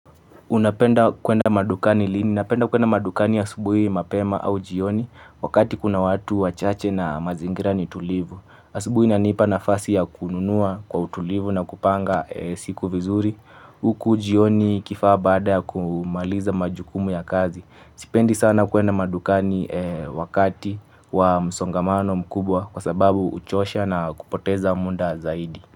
Unapenda kwenda madukani lini? Napenda kwenda madukani asubuhi mapema au jioni wakati kuna watu wachache na mazingira ni tulivu. Asubuhi inanipa na fasi ya kununua kwa utulivu na kupanga siku vizuri. Huku jioni ikifaa bada ya kumaliza majukumu ya kazi. Sipendi sana kwenda madukani wakati wa msongamano mkubwa kwa sababu uchosha na kupoteza munda zaidi.